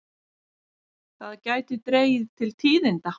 Það gæti dregið til tíðinda.